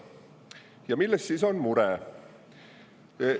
Ja milles on mure?